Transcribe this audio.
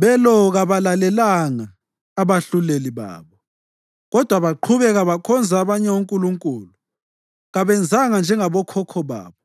Belo kababalalelanga abahluleli babo kodwa baqhubeka bekhonza abanye onkulunkulu. Kabenzanga njengabokhokho babo,